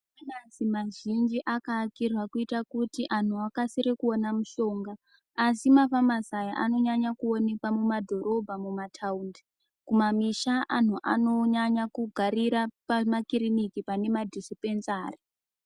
Famasi mazhinji akaakirwa kuitira kuti anhu akasire kuona mushonga asi mafamasi aya anonyanya kuonekwa mumadhorobha mumataundi kumamisha anhu anonyanya kugarira pamakiriniki pane madhisipenzari.